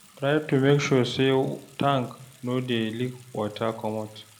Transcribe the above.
Try to make sure sey tank no dey leak water comot